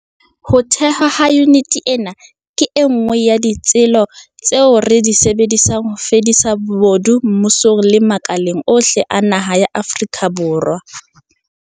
Ho thehwa ha yuniti ena ke e nngwe ya ditsela tseo re di sebedisang ho fedisa bobodu mmusong le makaleng ohle a naha ya Afrika Borwa.